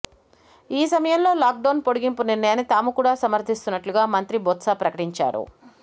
ఈ సమయంలో లాక్డౌన్ పొడగింపు నిర్ణయాన్ని తాము కూడా సమర్ధిస్తున్నట్లుగా మంత్రి బొత్స ప్రకటించాడు